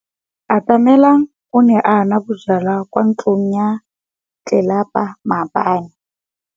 Atamelang o ne a nwa bojwala kwa ntlong ya tlelapa maobane.